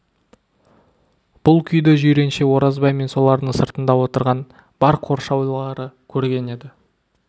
бұл күйді жиренше оразбай мен солардың сыртында отырған бар қоршаулары көрген еді